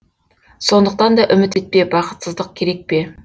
сондықтан да үміт етпе бақытсыздық керек пе